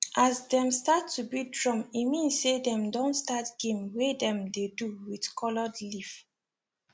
as dem start to beat drum e mean say dem don start game wey dem dey do with colored leaf